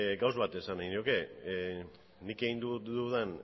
gauza bat esan nahi nioke nik egin dudan